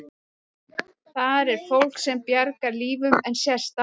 Þar er fólk sem bjargar lífum en sést aldrei.